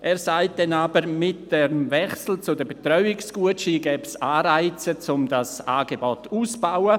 Er sagt dann aber, mit dem Wechsel zu den Betreuungsgutscheinen gebe es Anreize, das Angebot auszubauen.